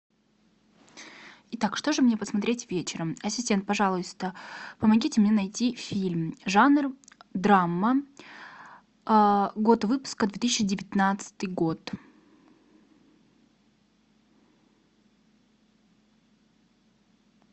итак что же мне посмотреть вечером ассистент пожалуйста помогите мне найти фильм жанр драма год выпуска две тысячи девятнадцатый год